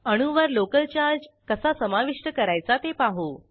अणूवर local charge कसा समाविष्ट करायचा ते बघू